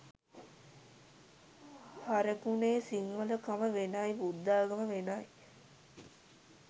හරකුනේ සිංහල කම වෙනයි බුද්ධාගම වෙනයි.